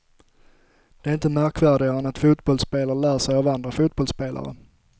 Det är inte märkvärdigare än att fotbollsspelare lär sig av andra fotbollsspelare.